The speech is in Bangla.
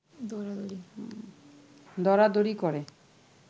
দরাদরি করে